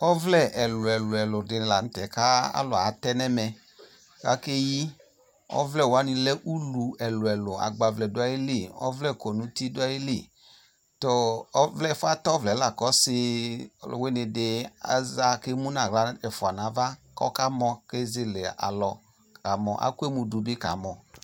Ɔvlɛ ɛluɛlu de ne lantɛ ko alu atɛ no ɛmɛ kake yi Ɔvlɛ wane lɛ ulu ɛluɛlu, agbavlɛ do ayili, ɔvlɛ kɔ no uti do ayili Tɔɔ, ɛfuɛ atɛ ɔvlɛ la ko ɔse aluwene de aza ke mu no ahla ɛfua nava kɔka mɔ ke zelealɔ kaa mɔ, akɔ emu do be kaa mɔ